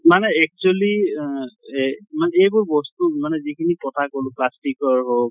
মানে actually উ য়ে মানে এইবোৰ বস্তু মানে যিখিনি কথা কʼলো মানে plastic ৰ হʼক